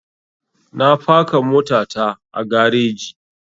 Na faka mota ta a gareji